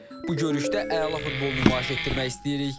Bu görüşdə əla futbol nümayiş etdirmək istəyirik.